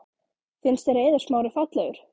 Finnst þér Eiður Smári fallegur?